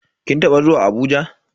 Kin taba zuwa Abuja?